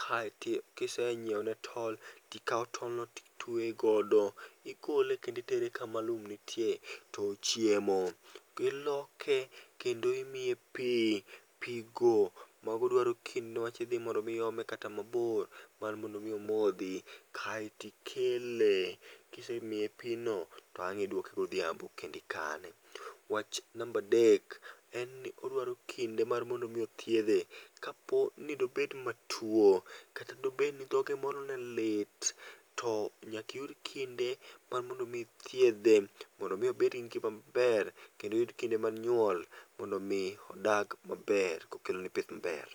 kaito ki isetweyo ne tol ti ikawo tol no ti itweyo godo ti igole kendo itere ka ma lum nitie to ochiem. lloke kendo imiye pi pigo ma go dwaro kinde ne wach mondo mi iome kata ma bor mar mondo mi omodhi kaito ikele ki isemiye pi no to ang idwoke go odhiambo kendo ikane. Wach namba adek, en ni odwaro kinde mar mondo othiedhe ka po ni de obed ma to kata bed ni dhoge moro ne lit to nyaka iyud kinde mar mondo mi thietdhe mondo mi obed gi kinde ma ber kendo oyud kinde mag nyuol mondo odag ma ber ko okelo ni pith ma ber.